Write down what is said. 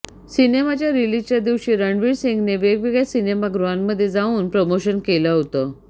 सिनेमाच्या रिलीजच्या दिवशी रणवीर सिंगने वेगवेगळ्या सिनेमागृहांमध्ये जाऊन प्रमोशन केलं होतं